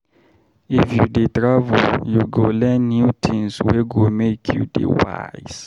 If you dey travel, you go learn new tins wey go make you dey wise.